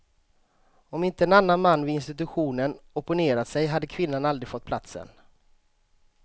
Om inte en annan man vid institutionen opponerat sig hade kvinnan aldrig fått platsen.